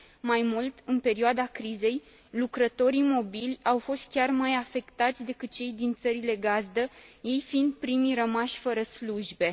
Mai mult, în perioada crizei, lucrătorii mobili au fost chiar mai afectați decât cei din țările gazdă, ei fiind primii rămași fără slujbe.